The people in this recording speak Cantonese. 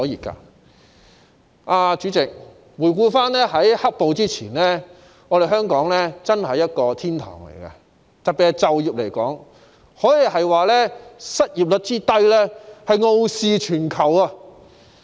代理主席，回顧在"黑暴"發生前，香港真是一個天堂，特別是在就業方面，失業率之低可說是傲視全球。